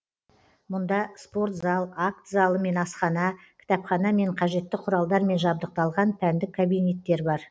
мұнда спорт зал акт залы мен асхана кітапхана мен қажетті құралдармен жабдықталған пәндік кабинеттер бар